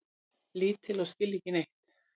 Lítil og skilja ekki neitt.